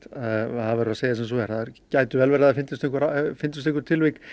það verður að segjast eins og er það gæti verið að það finnist einhver finnist einhver tilvik